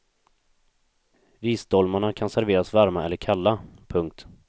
Risdolmarna kan serveras varma eller kalla. punkt